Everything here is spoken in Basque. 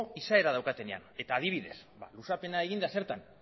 izaera daukatenean eta adibidez ba luzapena egin da zertan